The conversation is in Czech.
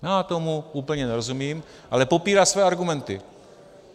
Já tomu úplně nerozumím, ale popírá své argumenty.